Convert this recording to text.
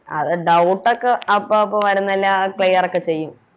ആ അഹ് Doubt ഒക്കെ അപ്പൊ അപ്പൊ വരുന്നതെല്ലാം Clear ഒക്കെ ചെയ്യും